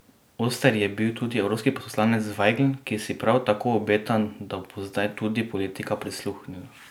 Oster je bil tudi evropski poslanec Vajgl, ki si prav tako obeta, da bo zdaj tudi politika prisluhnila.